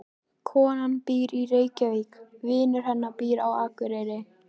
Konan býr í Reykjavík. Vinur hennar býr á Akureyri.